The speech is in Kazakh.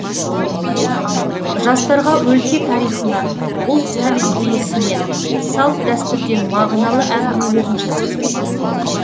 жастарға өлке тарихынан ұлт тәрбиесінен салт дәстүрден мағыналы әңгімелерін жеткізді